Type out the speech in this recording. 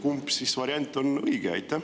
Milline variant on õige?